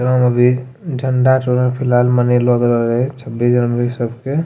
एकरा अभी ठण्डा फिलहाल गेलौ हलै छब्बीस जनवरी सब के।